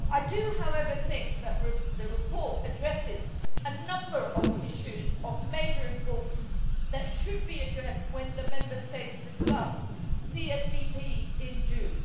I do, however, think that the report addresses a number of issues of major importance that should be addressed when the Member States discuss the CSDP in June.